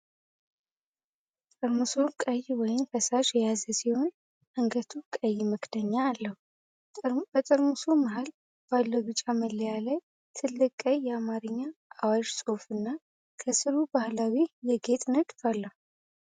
ጠርሙሱ ቀይ ወይን ፈሳሽ የያዘ ሲሆን፣ አንገቱ ቀይ መክደኛ አለው። በጠርሙሱ መሃል ባለው ቢጫ መለያ ላይ፣ ትልቅ ቀይ የአማርኛ አዋሽ ጽሑፍና ከሥሩ ባህላዊ የጌጥ ንድፍ አለ።